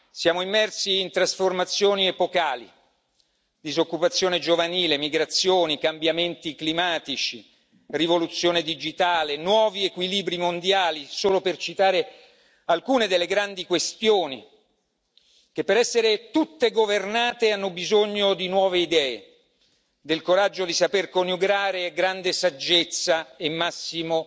Siamo immersi in trasformazioni epocali disoccupazione giovanile, migrazioni, cambiamenti climatici, rivoluzione digitale, nuovi equilibri mondiali, solo per citare alcune delle grandi questioni che, per essere tutte governate, hanno bisogno di nuove idee, del coraggio di saper coniugare con grande saggezza e il massimo